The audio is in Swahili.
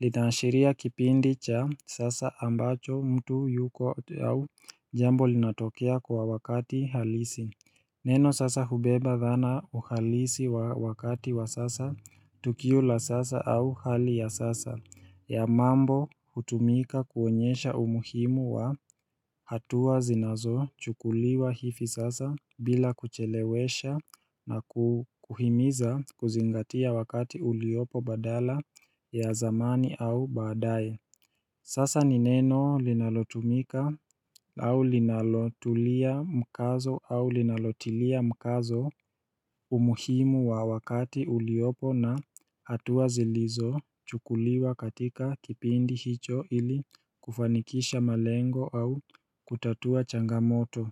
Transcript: Linaanishiria kipindi cha sasa ambacho mtu yuko au jambo linatokea kwa wakati halisi Neno sasa hubeba dhana uhalisi wa wakati wa sasa Tukiula sasa au hali ya sasa ya mambo hutumika kuonyesha umuhimu wa hatua zinazo chukuliwa hifi sasa bila kuchelewesha na kuhimiza kuzingatia wakati uliopo badala ya zamani au baadaye Sasa nineno linalotumika au linalotulia mkazo au linalotilia mkazo umuhimu wa wakati uliopo na hatua zilizo chukuliwa katika kipindi hicho ili kufanikisha malengo au kutatua changamoto.